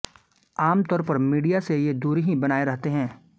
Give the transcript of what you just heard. आमतौर पर मीडिया से ये दूरी ही बनाए रहते हैं